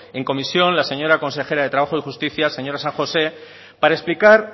en comisión la señora consejera de trabajo y justicia señora san josé para explicar